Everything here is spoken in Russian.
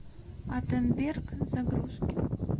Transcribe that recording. аттенберг загрузки